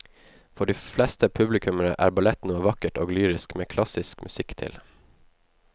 For de fleste publikummere er ballett noe vakkert og lyrisk med klassisk musikk til.